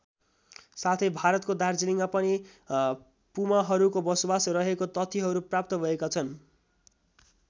साथै भारतको दार्जिलिङमा पनि पुमाहरूको बसोबास रहेको तथ्यहरू प्राप्त भएका छन्।